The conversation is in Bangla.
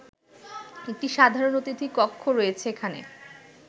একটি সাধারণ অতিথি কক্ষ রয়েছে এখানে